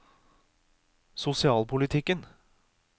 sosialpolitikken